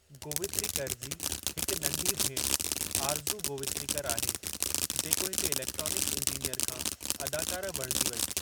गोवित्रिकर जी हिकु नंढी भेणु, आरज़ू गोवित्रिकर आहे, जेको हिकु इलेक्ट्रॉनिक्स इंजीनियर खां अदाकारा बणिजी वेई।